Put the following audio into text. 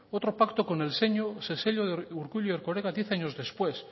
otro pacto con el sello de urkullu y erkoreka diez años después